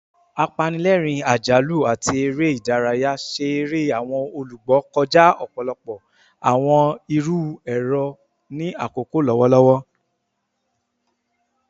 Apanilẹrin, ajalu, ati ere idaraya ṣe ere awọn olugbo kọja ọpọlọpọ awọn iru ẹrọ ni akoko lọwọlọwọ